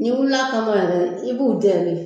N'i wulila a kama yɛrɛ i b'u jɔ de